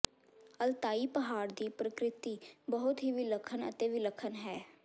Altai ਪਹਾੜ ਦੀ ਪ੍ਰਕਿਰਤੀ ਬਹੁਤ ਹੀ ਵਿਲੱਖਣ ਅਤੇ ਵਿਲੱਖਣ ਹੈ